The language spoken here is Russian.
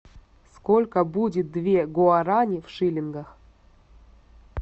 сколько будет две гуарани в шиллингах